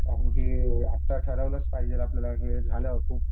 कारण की आत्ता ठरवलंच पाहिजे आपल्याला की